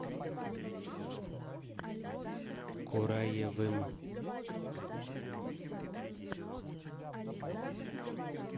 кураевым